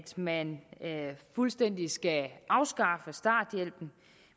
man fuldstændig skal afskaffe starthjælpen